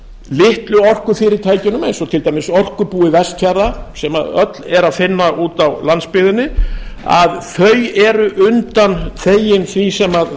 litlu orkufyrirtækin eins og til dæmis orkubúi vestfjarða sem öll er að finna úti á landsbyggðinni eru undanþegin því sem